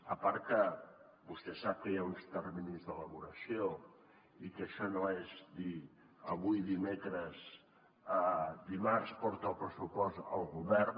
a part que vostè sap que hi ha uns terminis d’elaboració i que això no és dir avui dimecres dimarts porta el pressupost al govern